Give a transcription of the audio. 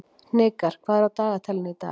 Hnikar, hvað er á dagatalinu í dag?